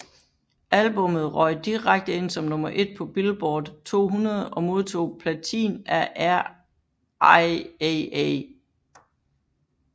Albummet røg direkte ind som nummer 1 på Billboard 200 og modtog platin af RIAA